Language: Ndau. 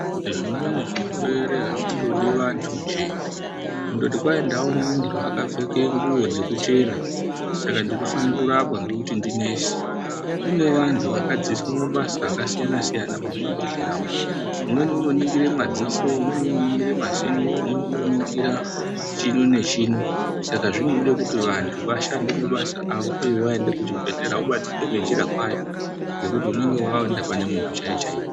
Nge zvimweni zvirwere azvindodi vantu nje kundoto kwai ndaine muntu aka pfeke nguwo dze kuchena saka ndino fane kurapwa nekuti ndi nesi kune vantu vaka dzidziswa mabasa aka siyana siyana mu zvibhedhleya umu umweni uno ningire madziso umweni uno ningire mazino umweni uno ningira chino ne chino saka zvinode kuti vantu vashande mabasa avo uye waenda pa chibhedhlera ubatsirike ne njiri kwayo ngekuti unenge waenda pane muntu chaiye chaiye.